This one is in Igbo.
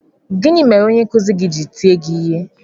Gịnị mere onye nkụzi gị ji tie gị ihe?